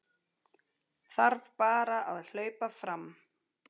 Þarf bara að hlaupa fram